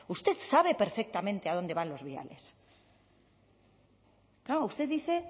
usted sabe perfectamente a dónde van los viales claro usted dice